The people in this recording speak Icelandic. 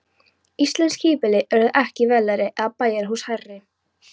Íslensk híbýli urðu ekki veglegri eða bæjarhús hærri.